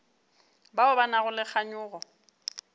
bao ba nago le kganyogo